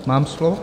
Mám slovo?